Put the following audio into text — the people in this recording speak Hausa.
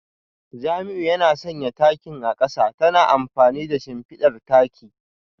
Jamiu yana sanya takin a kasa ta amfani da shimfidar taki